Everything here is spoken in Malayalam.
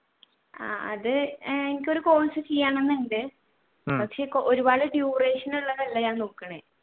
ആഹ് അത് എനിക്ക് ഒരു course ചെയ്യണം എന്നുണ്ട് പക്ഷെ ഒരുപാട് duration ഉള്ളത് അല്ല ഞാൻ നോക്കണേ